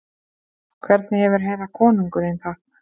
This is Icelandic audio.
Hvernig hefur herra konungurinn það?